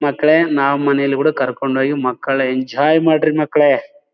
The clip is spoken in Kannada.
ಮಕ್ಕಳೇ ನಾವ್ ಮನೇಲಿ ಕೂಡ ಕರ್ಕೊಂಡು ಹೋಗಿ ಮಕ್ಕಳ್ ಎಂಜಾಯ್ ಮಾಡಿ ಮಕ್ಕಳೇ.